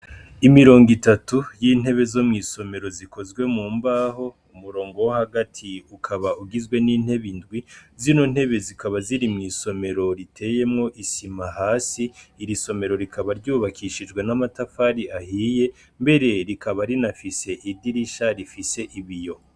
Imirongo itatu yintebe zo mwisomero zikozwe mu mbaho umurongo wo hagati ukaba ugizwe nintebe indwi zino ntebe zikaba ziri mwisomero iteyemwo isima hasi iri somero rikaba ryubakishijwe namatafari ahiye mbere rikaba rinafise idirisha rifise ibiyo.